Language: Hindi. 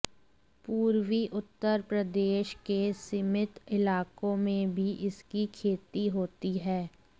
पूर्वी उत्तर प्रदेश के सीमित इलाकों में भी इसकी खेती होती है